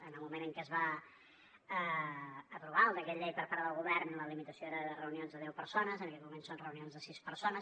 en el moment en què es va aprovar el decret llei per part del govern la limitació era de reunions de deu persones en aquest moment són reunions de sis persones